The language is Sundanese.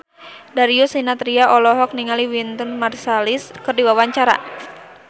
Darius Sinathrya olohok ningali Wynton Marsalis keur diwawancara